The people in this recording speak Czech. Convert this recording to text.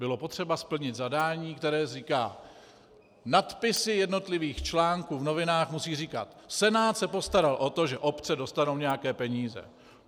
Bylo potřeba splnit zadání, které říká: nadpisy jednotlivých článků v novinách musí říkat Senát se postaral o to, že obce dostanou nějaké peníze.